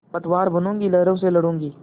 पतवार बनूँगी लहरों से लडूँगी